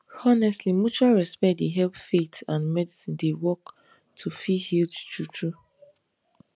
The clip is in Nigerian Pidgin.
honestly mutual respect dey help faith and medicine dey work to feel healed true true